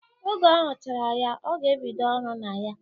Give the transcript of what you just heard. Oge ọ huchara ya, ọ ga-ebido ọrụ na ya.